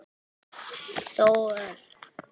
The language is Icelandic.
Þórörn, hækkaðu í græjunum.